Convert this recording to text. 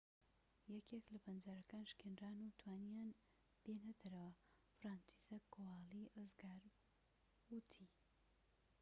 یەکێك لە پەنجەرەکان شکێنران و توانییان بێنە دەرەوە فرانچیزەک کۆوالی ڕزگاربوو وتی